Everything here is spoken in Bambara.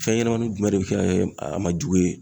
Fɛn ɲɛnɛmanin jumɛn de bɛ kɛ a ma jugu ye?